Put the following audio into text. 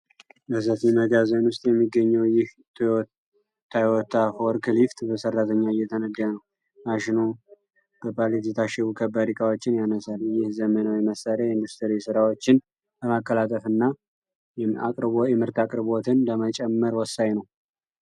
በሰፊ መጋዘን ውስጥ የሚገኘው ይህ ቶዮታ ፎርክሊፍት በሠራተኛ እየተነዳ ነው። ማሽኑ በፓሌት የታሸጉ ከባድ ዕቃዎችን ያነሳል። ይህ ዘመናዊ መሣሪያ የኢንዱስትሪ ሥራዎችን ለማቀላጠፍና የምርት አቅርቦትን ለመጨመር ወሳኝ ነው።